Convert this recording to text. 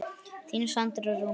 Þín Sandra Rún.